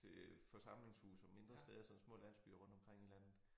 Til forsamlingshuse og mindre steder sådan små landsbyer rundtomkring i landet